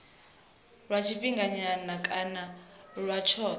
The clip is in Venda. lwa tshifhinganyana kana lwa tshothe